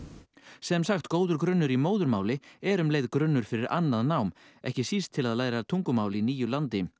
sem sagt góður grunnur í móðurmáli er um leið grunnur fyrir annað nám ekki síst til að læra tungumál í nýju landi